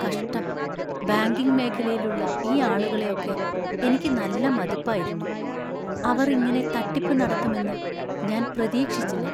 കഷ്ടം, ബാങ്കിംഗ് മേഖലയിലുള്ള ഈ ആളുകളെ ഒക്കെ എനിക്ക് നല്ല മതിപ്പായിരുന്നു; അവർ ഇങ്ങനെ തട്ടിപ്പ് നടത്തും എന്ന് ഞാൻ പ്രതീക്ഷിച്ചില്ല.